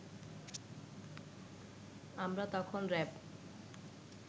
আমরা তখন র‍্যাব